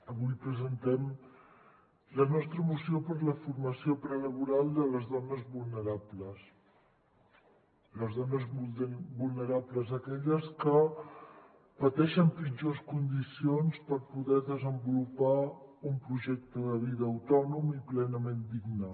avui presentem la nostra mo·ció per a la formació prelaboral de les dones vulnerables les dones vulnerables aquelles que pateixen pitjors condicions per poder desenvolupar un projecte de vida autònom i plenament digne